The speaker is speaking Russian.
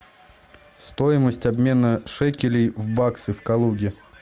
стоимость обмена шекелей в баксы в калуге